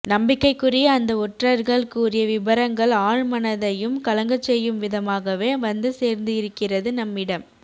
நம்பிக்கைக்குரிய அந்த ஒற்றர்கள் கூறிய விபரங்கள் ஆழ் மனதையும் கலங்கச் செய்யும் விதமாகவே வந்து சேர்ந்து இருக்கிறது நம்மிடம்